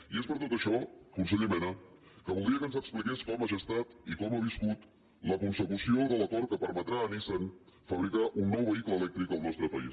i és per tot això conseller mena que voldria que ens expliqués com ha gestat i com ha viscut la consecució de l’acord que permetrà a nissan fabricar un nou vehicle elèctric al nostre país